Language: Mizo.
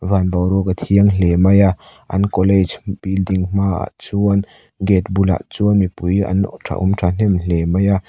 van boruak a thiang hle mai a an college building hmaah chuan gate bulah chuan mipui an tha awm thahnem hle mai a.